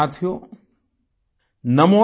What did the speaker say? साथियो